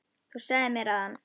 Þú sagðir mér að hann.